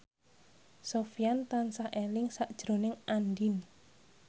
Sofyan tansah eling sakjroning Andien